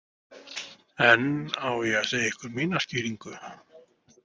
En á ég segja ykkur mína skýringu?